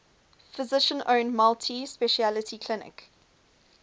physician owned multi specialty clinic